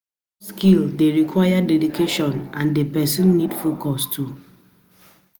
self taught skill de require dedication and di persin need focus too